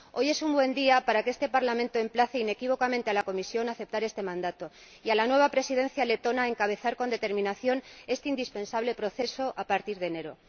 Hoy es un buen día para que este Parlamento emplace inequívocamente a la Comisión a que acepte este mandato y a la nueva Presidencia letona a que encabece con determinación este indispensable proceso a partir de enero.